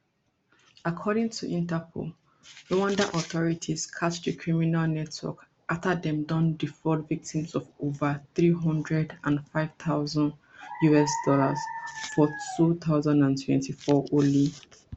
according to interpol rwanda authority catch di criminal network afta dem don defraud victims of ova three hundred and five thousand us dollar for two thousand and twenty-four alone